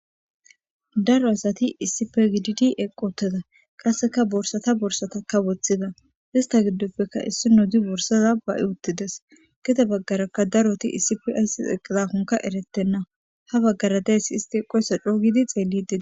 Daro asati issip gidd eqqoteda qasseka borsata borsataka woththida ista giddoppekka issi no di borsaza ba'i uttides gida baggarakka daroti isif ayss eqqizakonka eretenna ha baggara deyssi isti eqoysa coogidi xeellidii.